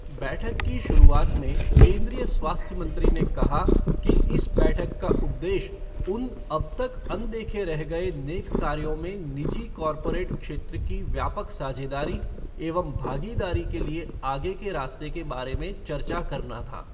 बैठक की शुरूआत में, केन्द्रीय स्वास्थ्य मंत्री ने कहा कि इस बैठक का उद्देश्य उन अब तक अनदेखे रह गए नेक कार्यों में निजी कॉर्पोरेट क्षेत्र की व्यापक साझेदारी एवं भागीदारी के लिए आगे के रास्ते के बारे में चर्चा करना था।